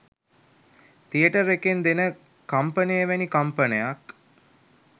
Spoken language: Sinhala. තියටර් එකෙන් දෙන කම්පනය වැනි කම්පනයක්